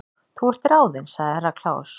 Þú ert ráðin sagði Herra Kláus.